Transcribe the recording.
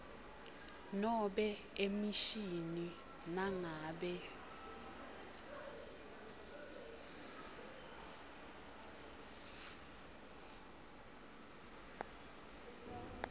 nobe emishini nangabe